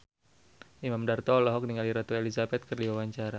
Imam Darto olohok ningali Ratu Elizabeth keur diwawancara